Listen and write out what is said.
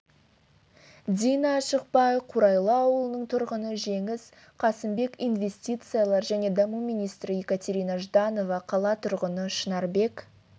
дина ашықбай қурайлы ауылының тұрғыны жеңіс қасымбек инвестициялар және даму министрі екатерина жданова қала тұрғыны шынарбек